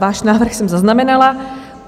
Váš návrh jsem zaznamenala.